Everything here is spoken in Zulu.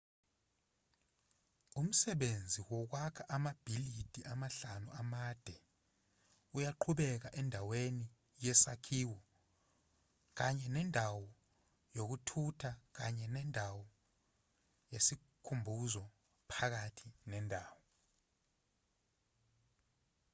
umsebenzi wokwakha amabhilidi amahlanu amade uyaqhubeka endaweni yesakhiwo kanye nendawo yokuthutha kanye nendawo yesikhumbuzo phakathi nendawo